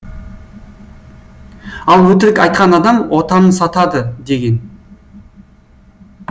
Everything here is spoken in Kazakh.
ал өтірік айтқан адам отанын сатады деген